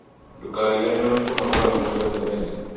Ndũkariganĩrwo nĩ kũnogora mwĩrĩ omũthenya